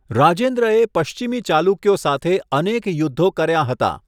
રાજેન્દ્રએ પશ્ચિમી ચાલુક્યો સાથે અનેક યુદ્ધો કર્યા હતા.